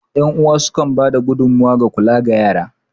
Yan uwa sukan ba da gudummawa ga kula da yara.